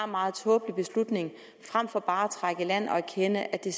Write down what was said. meget tåbelig beslutning frem for bare at trække i land og erkende at det